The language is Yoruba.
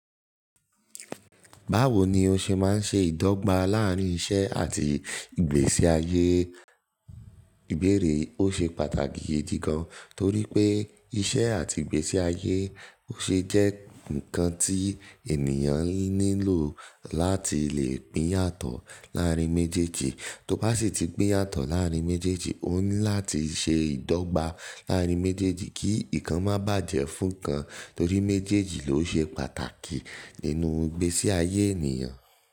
Báwo ni ó ṣe máa ń ṣe ìdọ́gba láàárín iṣẹ́ àti ìgbésí ayé? Ìbéèrè ó ṣe pàtàkì gidi gan, torí pé iṣẹ́ àti ìgbésí ayé ó ṣe jẹ́ nǹkan tí ènìyàn nílò láti lè pín yàtọ̀ láàárín méjèèjì. Tí ó bá sì ti pín yàtọ̀ láàárín méjèèjì, ó ní láti ṣe ìdọ́gba láàárín méjèèjì kí nǹkan má bàjẹ́ fún kan, torí méjèèjì ló ṣe pàtàkì nínú ìgbésí ayé ènìyàn.